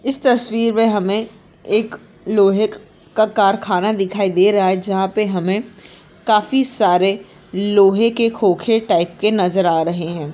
इस तस्वीर मे हमे एक लोहे का कारख़ाना दिखाई दे रहा है जहा पे हमे काफी सारे लोहे के खोखे टाइप के नजर आ रहे है।